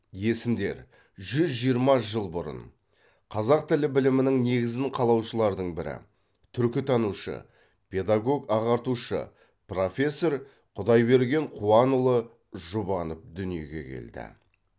есімдер жүз жиырма жыл бұрын қазақ тілі білімінің негізін қалаушылардың бірі түркітанушы педагог ағартушы профессор құдайберген қуанұлы жұбанов дүниеге келді